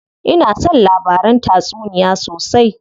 Ina son labaran tatsuniya sosai.